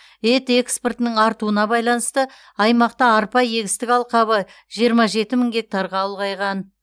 ет экспортының артуына байланысты аймақта арпа егістік алқабы жиырма жеті мың гектарға ұлғайған